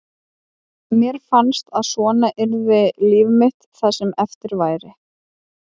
Mér fannst að svona yrði líf mitt það sem eftir væri.